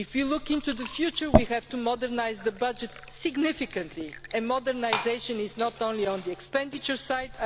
Looking to the future, we will have to modernise the budget significantly, and modernisation is not only on the expenditure side.